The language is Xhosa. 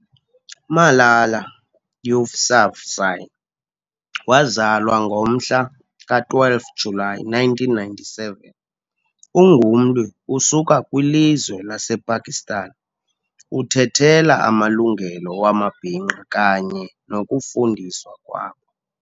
Malala Yousafzai wazalwa ngomhla ka 12 July 1997 ungumlwi usuka kwi lizwe lasePakistan. uthethela amalungelo wamabinqa kanye nokufundiswa kwabo.